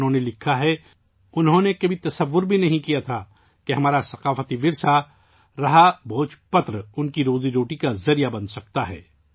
انہوں نے لکھا ہے کہ 'انہوں نے کبھی سوچا بھی نہیں تھا کہ ہمارا قدیم ثقافتی ورثہ 'بھوج پتر' ان کی روزی روٹی کا ذریعہ بن سکتا ہے